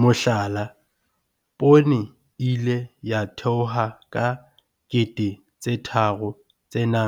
Mohlala, poone e ile ya theoha ka R3 800